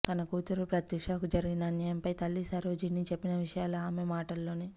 తన కూతురు ప్రత్యూషకు జరిగిన అన్యాయంపై తల్లి సరోజిని చెప్పిన విషయాలు ఆమె మాటల్లోనే